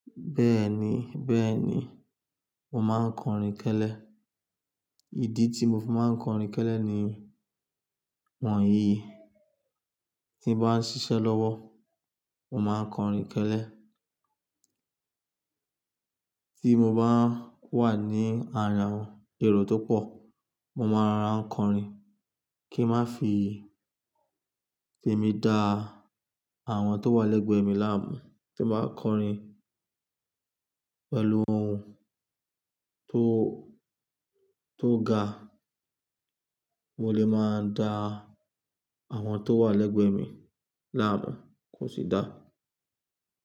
Bẹ́ẹ̀ni, bẹ́ẹ̀ni, mo máa ń kọrin kẹ́lẹ́. Ìdí tí mo fi máa ń kọrin kẹ́lẹ́ ni wọ̀nyí: tí mo bá ń ṣiṣẹ́ lọ́wọ́, mo máa ń kọrin kẹ́lẹ́. Tí mo bá wà ní ara àwọn èrò tó pọ̀, mo máa ń rọra n kọrin kí ń má fi tèmi dá àwọn tó wà lẹ́gbẹ̀ẹ́ mi láàmú. Tí mo bá kọrin pẹ̀lú ohùn tó, tó ga, mo lè máa dá àwọn tó wà lẹ́gbẹ̀ẹ́ mi láàmú, kò sì dá.